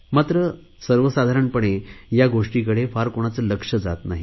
मात्र सर्वसाधारणपणे या गोष्टींकडे फार कोणाचे लक्ष जात नाही